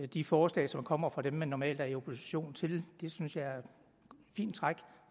de forslag som kommer fra dem man normalt er i opposition til det synes jeg er et fint træk